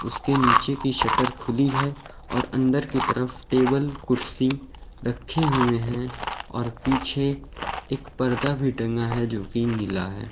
उसके नीचे की शटर खुली है और अंदर की तरफ टेबल कुर्सी रखे हुए हैं और पीछे एक पर्दा भी टंगा है जोकि नीला है।